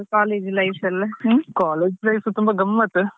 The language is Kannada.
ಹೌದಾ ಹಾ ಹೇಗಿತ್ತು ನಿಮ್ದು college life ಎಲ್ಲ ಹ್ಮ್.